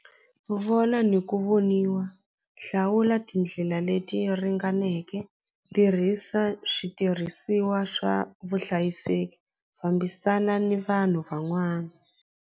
Vona ni ku voniwa hlawula tindlela leti ringaneke tirhisa switirhisiwa swa vuhlayiseki fambisana ni vanhu van'wana.